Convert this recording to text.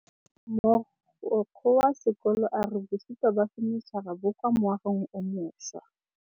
Mogokgo wa sekolo a re bosutô ba fanitšhara bo kwa moagong o mošwa.